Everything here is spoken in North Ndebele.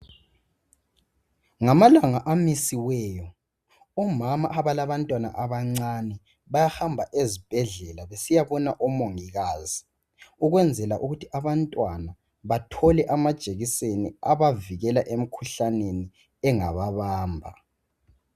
Ngamalanga amisiweyo omama abalabantwana abancane bayahamba ezibhedlela besiyabona omongikazi ukwenzela ukuthi abantwana bathole amajekiseni abavikela emkhuhlaneni engababamba.